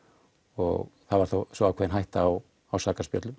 og það var þá ákveðin hætta á